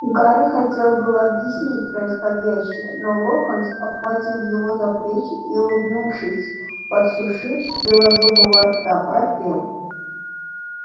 гарри хотел было объяснить происходящее но локонс обхватил его за плечи и улыбнувшись во всю ширь белозубого рта пропел